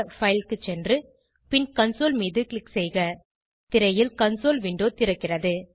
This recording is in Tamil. பைல் க்கு சென்று பின் கன்சோல் மீது க்ளிக் செய்க திரையில் கன்சோல் விண்டோ திறக்கிறது